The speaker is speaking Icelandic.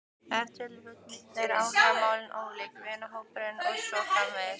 Ef til vill eru áhugamálin ólík, vinahópurinn og svo framvegis.